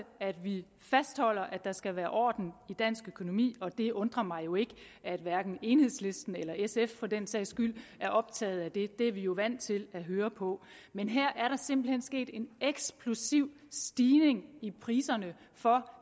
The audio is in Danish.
at vi fastholder at der skal være orden i dansk økonomi og det undrer mig jo ikke at hverken enhedslisten eller sf for den sags skyld er optaget af det det er vi jo vant til at høre på men her er der simpelt hen sket en eksplosiv stigning i priserne for